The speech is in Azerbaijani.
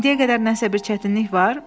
İndiyə qədər nəsə bir çətinlik var?